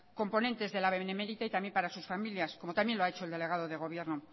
componentes de la benemérita y también para sus familias como también lo ha hecho el delegado de gobierno